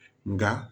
Nka